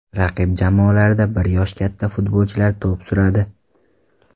Raqib jamoalarda bir yosh katta futbolchilar to‘p suradi.